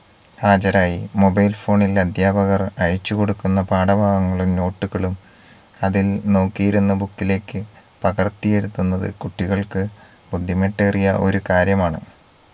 ഹാജരായി mobile phone ഇൽ അദ്ധ്യാപകർ അയച്ചു കൊടുക്കുന്ന പാഠഭാഗങ്ങളും note കളും അതിൽ നോക്കിയിരുന്നു book ഇലേക്ക് പകർത്തിയെഴുതുന്നത് കുട്ടികൾക്ക് ബുദ്ധിമുട്ടേറിയ ഒരു കാര്യമാണ്